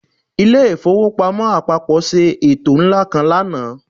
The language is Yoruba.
Ilé ìfowópamọ́ àpapọ̀ ṣe ètò ńlá kan lánàá